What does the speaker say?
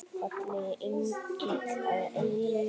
Fallegi engill að eilífu.